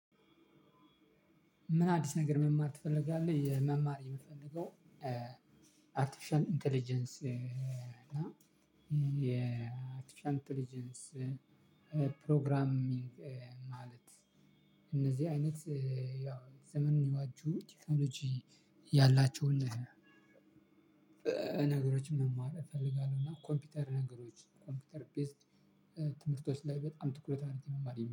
ምን? አዲስ ነገር መማር ትፈልጋለህ የመማር የምፈልገው አርቲፊሻል ኢንተለጀንስ እና የአርቲፊሻል ኢንተለጀንስ ፕሮግራሚንግ ማለት እነዚህ አይነት ያው ዘመኑን የዋጁ ቲክቶሎጂ ያላቸውን ነገሮችን መማር እፈልጋለሁ። እና ኮምፒውተር ነገሮች ኮምፒውተር ቤዝድ ትምህርቶች ላይ በጣም ትኩረት አድረጌ መማር የሚችለው